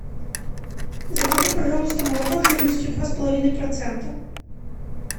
закажи пожалуйста молоко жирностью два с половиной процента